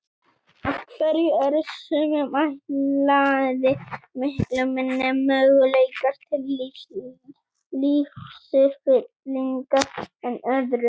Af hverju eru sumum ætlaðir miklu minni möguleikar til lífsfyllingar en öðrum?